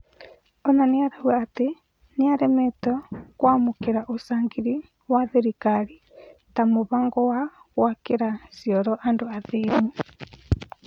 Ona nĩarauga atĩ nĩaremetwo kwamũkĩra ũcangĩri wa thirikari ta mũbango wa gwakĩra cĩoro andũ athĩni.